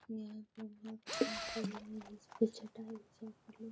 यहाँ पे बहुत पेड़ है जिसपे लोग --